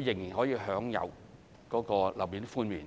仍然可以享有總樓面面積寬免。